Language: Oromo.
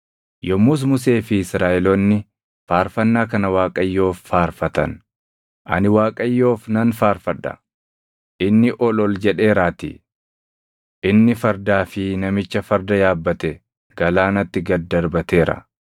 Yommus Musee fi Israaʼeloonni Faarfannaa kana Waaqayyoof faarfatan: “Ani Waaqayyoof nan faarfadha; inni ol ol jedheeraatii. Inni fardaa fi namicha farda yaabbate galaanatti gad darbateera.